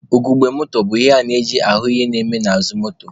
Ugogbe moto bụ ihe eji ahụ ihe na-eme n'azụ moto.